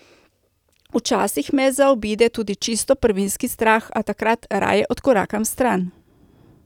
Včasih me zaobide tudi čisto prvinski strah, a takrat raje odkorakam stran.